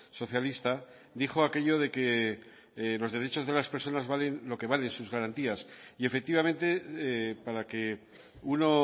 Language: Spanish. socialista dijo aquello de que los derechos de las personas valen lo que valen sus garantías y efectivamente para que uno